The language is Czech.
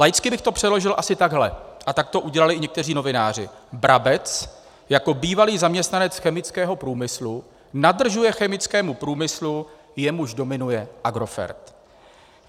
Laicky bych to přeložil asi takhle - a tak to udělali i někteří novináři: Brabec jako bývalý zaměstnanec chemického průmyslu nadržuje chemickému průmyslu, jemuž dominuje Agrofert.